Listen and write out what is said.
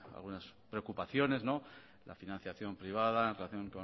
algunas preocupaciones la financiación privada en relación